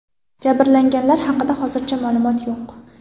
Jabrlanganlar haqida hozircha ma’lumot yo‘q.